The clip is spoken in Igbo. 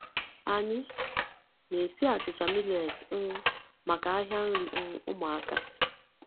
Anyị na-esi achịcha millet um maka ahịa nri um ụmụaka.